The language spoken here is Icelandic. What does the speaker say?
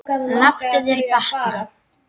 Láttu þér batna.